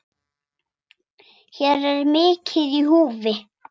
Hér er mikið í húfi.